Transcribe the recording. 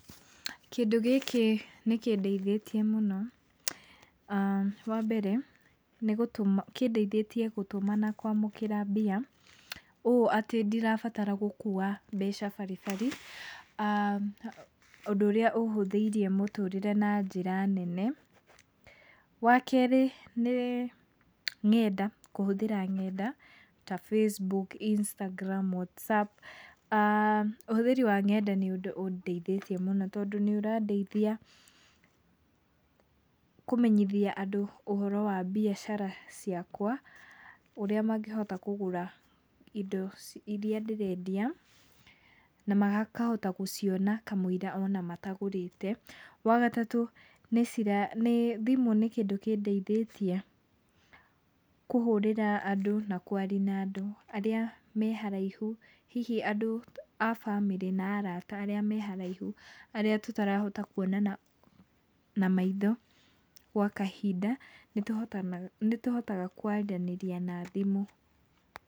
Kĩndũ gĩkĩ nĩkĩndeithĩtie mũno. Wambere nĩ gũtũma kĩndeithĩtie gũtũma na kwamũkĩra mbia, ũũ atĩ ndirabatara gũkua mbeca bari bari, ũndũ ũrĩa ũhũthĩirie mũtũrĩre na njĩra nene, Wakerĩ nĩ ngenda, kũhũthĩra ngenda ta Facebook, Instagram, WhatsApp. Ũhũthĩri wa ngenda nĩ ũndũ ũndeithĩtie mũno tondũ nĩũrandeithia kũmenyithia andũ ũhoro wa mbiacara ciakwa, ũrĩa mangĩhota kũgũra indo iria ndĩrendia na makahota gũciona kamũira ona matagũrĩte. Wagatatũ nĩcira nĩĩ thimũ nĩ kĩndũ kĩndeithĩtie kũhũrĩra andũ na kwaria na andũ arĩa me haraihu, hihi andũ a bamĩrĩ na arata arĩa me haraihu, arĩa tũtarahota kuonana na maitho gwa kahinda nĩtũhotanaga nĩtũhotaga kwaranĩria na thimũ.